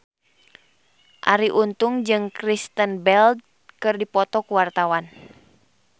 Arie Untung jeung Kristen Bell keur dipoto ku wartawan